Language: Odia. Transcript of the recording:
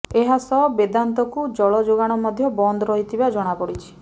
ଏହାସହ ବେଦାନ୍ତକୁ ଜଳ ଯୋଗାଣ ମଧ୍ୟ ବନ୍ଦ ରହିଥିବା ଜଣାପଡିଛି